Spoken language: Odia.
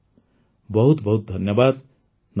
ବହୁତ ବହୁତ ଧନ୍ୟବାଦ୍ ନମସ୍କାର